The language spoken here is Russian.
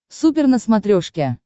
супер на смотрешке